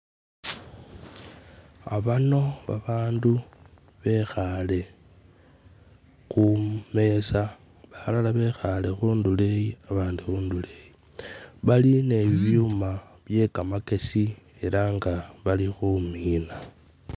Abano babandu bekhaale kumeeza balala bekhaale khundulo eyi abandi khundulo eyi bali ni'bibyuma byekamakesi ela nga bali khumina.